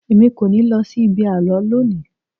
Èmi kò ní lọ sí ibi àlọ́ lónìí.